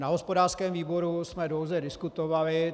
Na hospodářském výboru jsme dlouze diskutovali.